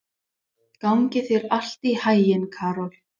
Gangi þér allt í haginn, Karol.